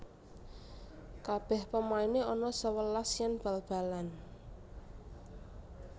Kabeh pemaine ana sewelas yen bal balan